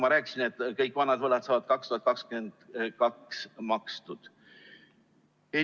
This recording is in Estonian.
Ma rääkisin, et kõik vanad võlad saavad 2022 makstud.